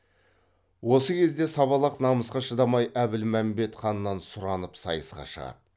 осы кезде сабалақ намысқа шыдамай әбілмәмбет ханнан сұранып сайысқа шығады